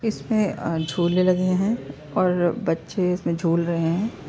इसमें अ झूले लगे है और बच्चे इसमें झूले रहे हैं।